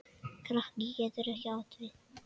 Kraki getur átt við